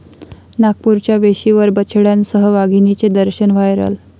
नागपूरच्या वेशीवर बछड्यांसह वाघिणीचे दर्शन, व्हायरल